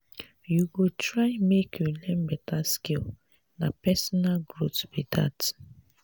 you go try make you learn beta skill na personal growth be dat.